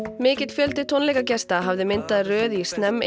mikill fjöldi tónleikagesta hafði myndað röð í